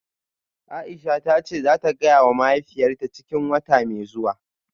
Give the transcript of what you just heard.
Aisha tace zata gayawa mahaifiyarta cikin wata mai zuwa.